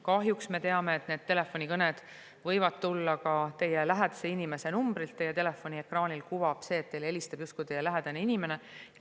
Kahjuks me teame, et telefonikõned võivad tulla ka justkui lähedase inimese numbrilt, telefoniekraanil kuvatakse seda nii, nagu helistaks teile teie lähedane inimene.